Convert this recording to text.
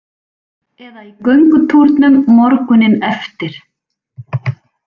Eða í göngutúrnum morguninn eftir.